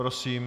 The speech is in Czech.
Prosím.